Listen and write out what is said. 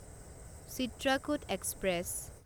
Chitrakoot express